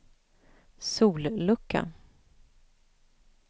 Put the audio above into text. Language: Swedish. sollucka